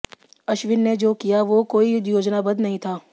अश्विन ने जो किया वो कोई योजनाबद्ध नहीं था